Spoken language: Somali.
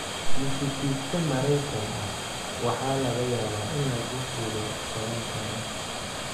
muusikiiste Maraykan ah waxa laga yaabaa in lagu xidho 10 sano